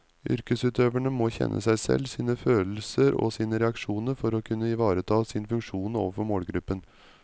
Yrkesutøverne må kjenne seg selv, sine følelser og sine reaksjoner for å kunne ivareta sin funksjon overfor målgruppen.